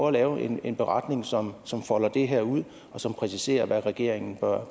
at lave en beretning som som folder det her ud og som præciserer hvad regeringen bør